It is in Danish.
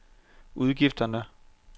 udgifterne